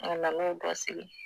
A nan'o dɔ sigi.